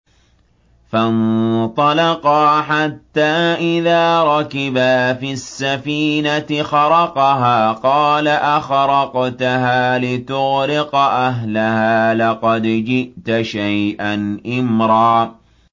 فَانطَلَقَا حَتَّىٰ إِذَا رَكِبَا فِي السَّفِينَةِ خَرَقَهَا ۖ قَالَ أَخَرَقْتَهَا لِتُغْرِقَ أَهْلَهَا لَقَدْ جِئْتَ شَيْئًا إِمْرًا